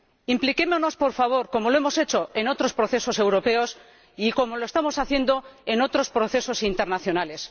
Impliquémonos, por favor ―como lo hemos hecho en otros procesos europeos y como lo estamos haciendo en otros procesos internacionales.